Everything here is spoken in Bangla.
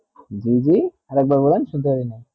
জী জী আর এক বার বলেন শুনতে পারিনি